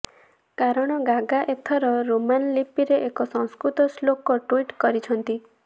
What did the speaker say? କାରଣ ଗାଗା ଏଥର ରୋମାନ ଲିପିରେ ଏକ ସଂସ୍କୃତ ଶ୍ଲୋକ ଟ୍ୱିଟ୍ କରିଛନ୍ତି